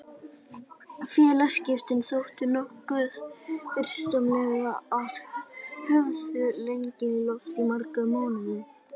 Félagaskiptin þóttu nokkuð fyrirsjáanleg og höfðu legið í loftinu í marga mánuði.